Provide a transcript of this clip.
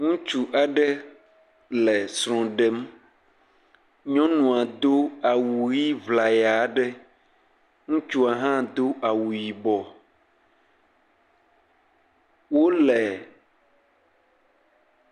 Ŋutsu aɖe le srɔ̃ ɖem, nyɔnua do awu ʋɛ̃ ŋlaya aɖe, ŋutsua hã do awu yibɔ, wole…